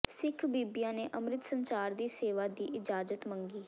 ਸਿੱਖ ਬੀਬੀਆਂ ਨੇ ਅੰਮ੍ਰਿਤ ਸੰਚਾਰ ਦੀ ਸੇਵਾ ਦੀ ਇਜਾਜ਼ਤ ਮੰਗੀ